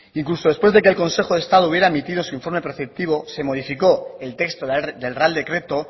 incluso después de que el consejo de estado hubiera emitido su informe perceptivo se modificó el texto del real decreto